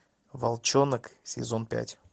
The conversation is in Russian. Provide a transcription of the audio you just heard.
волчонок сезон пять